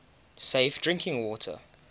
safe drinking water